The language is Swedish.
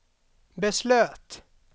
beslöt